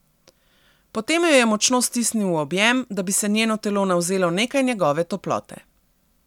Potem jo je močno stisnil v objem, da bi se njeno telo navzelo nekaj njegove toplote.